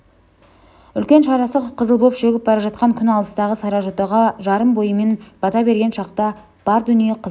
үлкен шарасы қып-қызыл боп шөгіп бара жатқан күн алыстағы саржотаға жарым бойымен бата берген шақта бар дүние қызыл